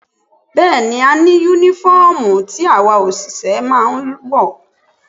Bẹ́ẹ̀ni, a ní Únífọ́ọ̀mù tí àwa òṣìṣẹ́ máa ń wọ̀